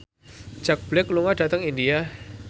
Jack Black lunga dhateng India